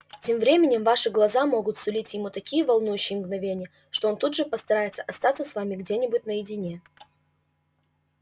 тем временем ваши глаза могут сулить ему такие волнующие мгновения что он тут же постарается остаться с вами где-нибудь наедине